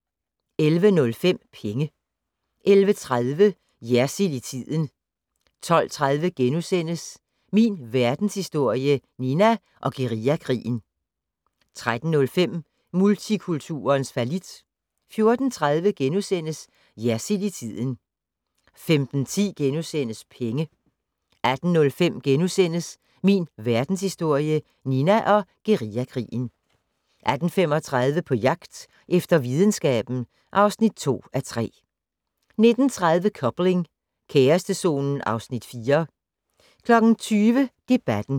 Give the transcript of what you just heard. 11:05: Penge 11:30: Jersild i tiden 12:30: Min Verdenshistorie - Nina og guerillakrigen * 13:05: Multikulturens fallit 14:30: Jersild i tiden * 15:10: Penge * 18:05: Min Verdenshistorie - Nina og guerillakrigen * 18:35: På jagt efter videnskaben (2:3) 19:30: Coupling - kærestezonen (Afs. 4) 20:00: Debatten